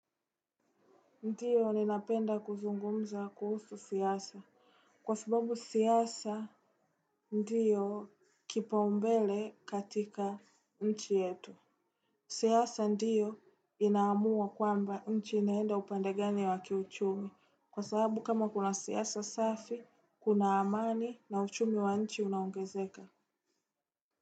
Ndiyo ninapenda kuzungumza kuhusu siasa. Kwa subabu siasa, ndiyo kipaumbele katika nchi yetu. Siasa ndiyo inaamua kwamba nchi inaenda upande gani wa kiuchumi. Kwa sababu kama kuna siasa safi, kuna amani na uchumi wa nchi unaongezeka.